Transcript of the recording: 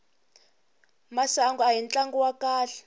masangu ahi tlangu wa kahle